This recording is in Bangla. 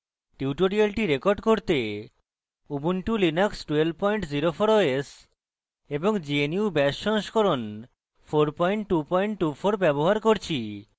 tutorial record করতে